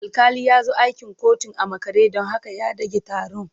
Alƙali ya zo akin kotun a makare don haka ya ɗage taron.